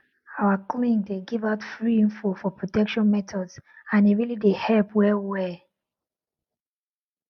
our clinic dey give out free info for protection methods and e really dey help well well well